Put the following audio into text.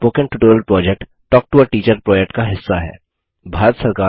spoken tutorial project talk to a teacher project का हिस्सा है